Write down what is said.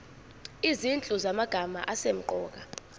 izinhlu zamagama asemqoka